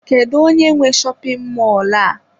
Kedu onye nwe shopin mọlụ a?